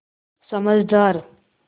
समझदार